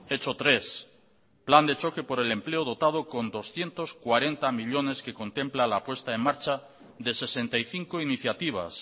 hecho tres plan de choque por el empleo dotado con doscientos cuarenta millónes que contemplan la puesta en marcha de sesenta y cinco iniciativas